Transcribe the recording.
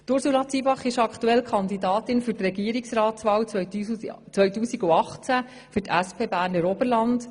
Sie ist aktuell Kandidatin für die Regierungsratswahl 2018 für die SP Berner Oberland.